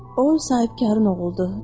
O sahibkarın oğuldu.